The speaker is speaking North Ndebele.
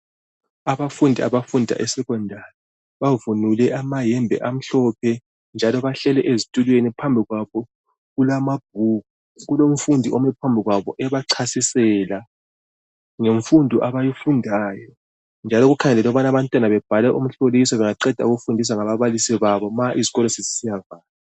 Abafundi abafunda eSecondary bavunule amayembe amhlophe njalo bahleli ezitulweni, phambikwabo kulamabhuku. Kulomfundi omephambikwabo ebachasisela ngemfundo abayifundayo njalo kukhangelwe ukubana abantwana babhale imihloliso ma izikolo sezisiya valwa.